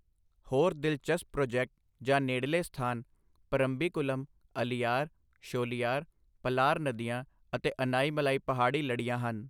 ਹੋਰ ਦਿਲਚਸਪ ਪ੍ਰੋਜੈਕਟ ਜਾਂ ਨੇੜਲੇ ਸਥਾਨ ਪਰੰਬੀਕੁਲਮ, ਅਲੀਯਾਰ, ਸ਼ੋਲੀਯਾਰ, ਪਲਾਰ ਨਦੀਆਂ ਅਤੇ ਅਨਾਈ-ਮਲਾਈ ਪਹਾੜੀ ਲੜੀਆਂ ਹਨ।